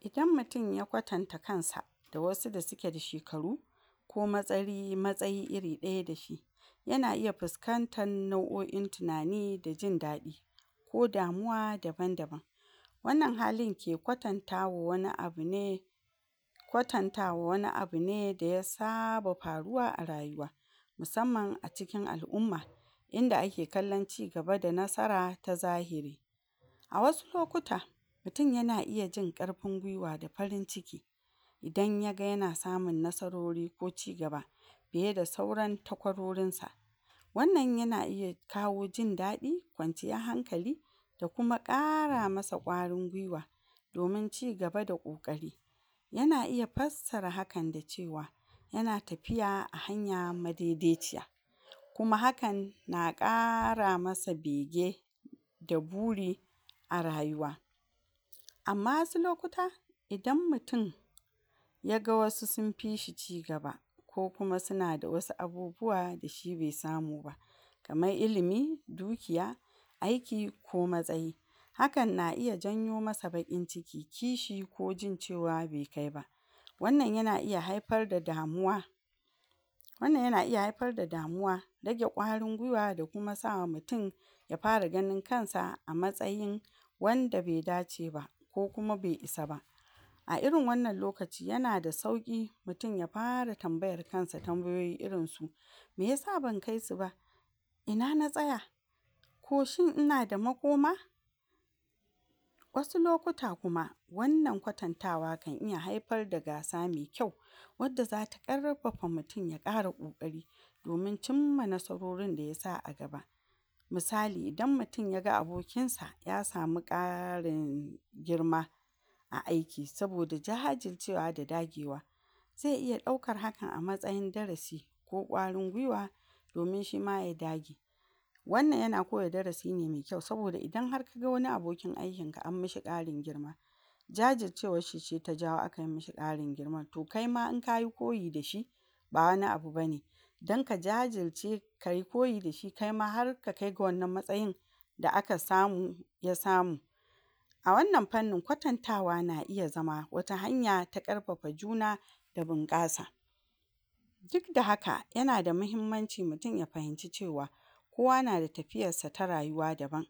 Idan mutin ya kwatanta kansa da wasu da sike da shekaru ko matsayi matsayi iri ɗaya da shi, yana iya fiskantan nau'o'i na tinani da jin daɗi ko damuwa daban daban, wannan halin ke kwatantawa wani abu ne kwatanta wani abu ne da ya saba faruwa a rayuwa musamman a cikin al'umma, inda ake kallan cigaba da nasara ta zahiri, a wasu lokuta mutin yana iya jin ƙarfin gwiwa da farin ciki idan yaga yana samun nasarori ko cigaba fiye da sauran takwarorinsa, wannan yana iya kawo jin daɗi, kwanciyah hankali da kuma ƙara masa ƙwarin gwiwa domin cigaba da ƙoƙari, yana iya fassara hakan da cewa yana tafiya a hanya madedeciya, kuma hakan na ƙara masa bege da buri a rayuwa, amma wasu lokuta idan mutin yaga wasu sinfi shi cigaba ko kuma sina da wasu abubuwa da shi be samu ba, kaman ilimi, dukiya aiki ko mtsayi, hakan na iya janyo masa baƙin ciki kishi ko jin cewa be kaiba, wannan yana iya haifar da damuwa wannan yana iya haifar da damuwa, rage ƙwarin gwiwa da kuma sawa mutin ya fara ganin kansa a matsayin wanda be dace ba ko kuma be isa ba, a irin wannan lokaci yana da sauƙi mutin ya fara tambayar kansa tambayoyi irin su miyasa ban kai su ba? Ina na tsaya? Ko shin inada makoma? Wasu lokuta kuma wannan kwatantawa kan iya haifar da gasa me kyau wadda zata ƙarfafa mutin ya ƙara ƙoƙari domin cimma nasarorin da yasa a gaba, misali idan mutin yaga abokinsa ya samu ƙarin girma a aiki saboda jajircewa da dagewa ze iya ɗaukar hakan a matsayin darasi ko ƙwarin gwiwa domin shima ya dage, wannan yana koya darasi ne me kyau saboda idan har kaga wani abokin aikinka an mashi ƙarin girma jajircewashshi ce ta jawo akai mashi ƙarin girman to kaima idan kayi koyi da shi, ba wani abu bane dan ka jajirce kai koyi da shi da kaima har ka kaiga wannan matsayin da aka samu ya samu, a wannan fannin kwatantawa na iya zama wata hanya ta ƙarfafa juna da bunƙasa, dik da haka yana da mahimmanci mutin ya fahimci cewa kowa nada tafiyarsa ta rayuwa daban,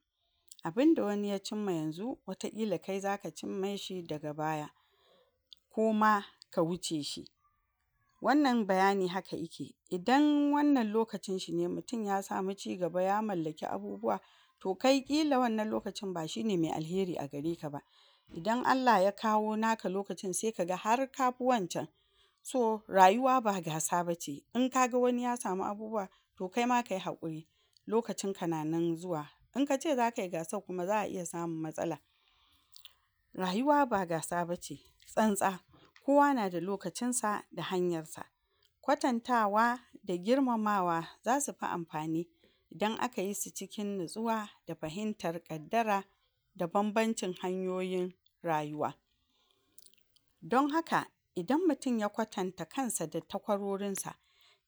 abinda wani ya cimma yanzu wataƙila kai zaka cimmashi daga baya koma ka wuce shi, wannan bayani haka ike, idan wannan lokacinshi ne mutin ya samu cigaba ya mallaki abubuwa to kai ƙila wannan lokacin ba shine me alheri a gareka ba, idan Allah ya kawo naka laokacin se kaga har kafi wancan, so rayuwa ba gasa bace in kaga wani ya samu abubuwa to kaima kai haƙuri lokacinka na nan zuwa, in kace zakai gasar kuma za'a iya samun matsala, rayuwa ba gasa bace tsantsa, kowa nada lokacinsa da hanyarsa, kwantatawa da girmamawa zasu fi amfani idan aka yi su cikin natsuwa da fahintar ƙaddara, da banbancin hanyoyin rayuwa, don haka idan mutin ya kwatanta kansa da takwarorinsa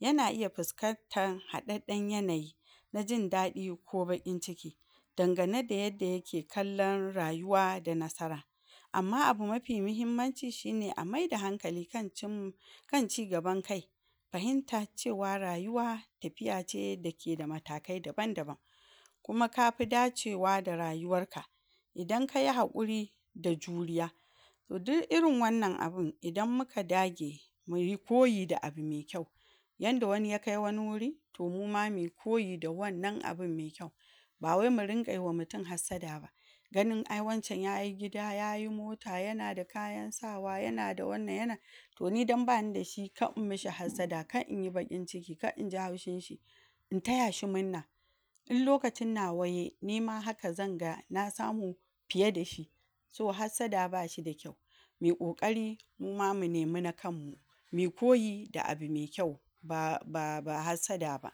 yana iya fiskantan haɗaɗɗan yanayi na jin daɗi ko baƙin ciki, dangane da yadda yake kallan rayuwa da nasara, amma abu mafi mihimmanci shine a maida hankali kan cinm... kan cigaban kai fahimta cewa rayuwa tafiya ce da keda matakai daban daban, kuma kafi dacewa da rayuwarka, idan kai haƙuri da juriya to du'irin wannan abun idan muka dage muyi koyi da abu me kyau yanda wani ya kai wani wuri to muma mi koyi da wannan abun me kyau, ba wai mu rinƙai wa mutin hassada ba, ganin ai wancan yayi gida yayi mota yana da kayan sawa yana da wanan yana to ni dan bani da shi ka'imma shi hassada, ka'inyi baƙin ciki, ka'inji haushinshi in taya shi munna in lakacin nawa yai nima haka zanga na samu fiye da shi, so hassada bashi da kyau mi ƙoƙari muma mu nemi na kanmmu, mi koyi da abu me kyau ba...ba... ba hasadda ba.